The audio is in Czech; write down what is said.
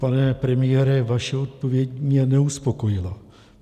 Pane premiére, vaše odpověď mě neuspokojila.